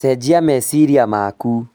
Cenjia meciria maku